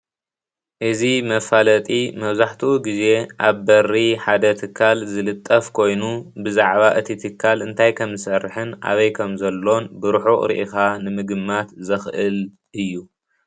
እዚ መፋለጢ መብዛሕቲኡ ግዜ ኣብ በሪ ሓደ ትካል ዝልጠፍ ኮይኑ ብዛዕባ እቲ ትካል እንታይ ከም ዝሰርሕን ኣበይ ከምዘሎን ብሩሑቕ ሪኢኻ ንምግማት ዘኽእል እዩ፡፡